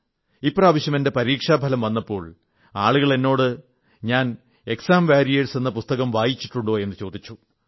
ഇപ്രാവശ്യം എന്റെ പരീക്ഷാഫലം വന്നപ്പോൾ ആളുകൾ എന്നോട് ഞാൻ എക്സാം വാരിയേഴ്സ് എന്ന പുസ്തകം വായിച്ചിട്ടുണ്ടോ എന്നു ചോദിച്ചു